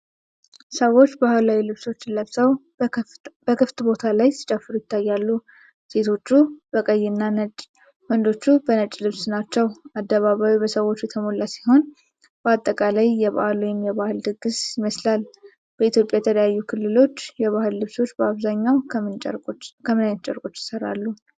ሰዎች ባህላዊ ልብሶችን ለብሰው በክፍት ቦታ ላይ ሲጨፍሩ ይታያሉ። ሴቶቹ በቀይና ነጭ፣ ወንዶቹ በነጭ ልብስ ናቸው። አደባባዩ በሰዎች የተሞላ ሲሆን፣ በአጠቃላይ የበዓል ወይም የባህል ድግስ ይመስላል። በኢትዮጵያ የተለያዩ ክልሎች የባህል ልብሶች በአብዛኛው ከምን አይነት ጨርቆች ይሰራሉ?